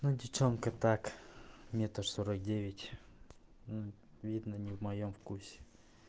ну девчонка так метр сорок девять видно не в моем вкусе